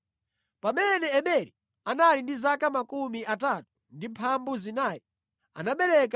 Pamene Eberi anali ndi zaka 34 anabereka Pelegi.